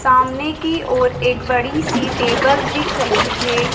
सामने की ओर एक बड़ी सी टेबल दिख रही है।